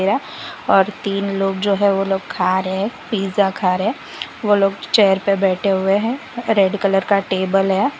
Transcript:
और तीन लोग जो है वो लोग खा रहे हैं पिज़्ज़ा खा रहे हैं वो लोग चेयर पे बैठे हुए हैं रेड कलर का टेबल है।